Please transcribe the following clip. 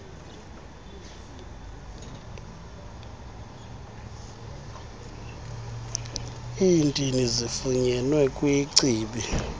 iintini zifunyenwe kwichibi